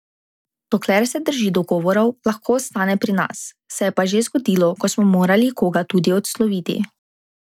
Dokler se drži dogovorov, lahko ostane pri nas, se je pa že zgodilo, ko smo morali koga tudi odsloviti.